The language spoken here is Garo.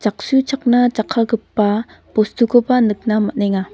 jaksuchakna jakkalgipa bostukoba nikna man·enga.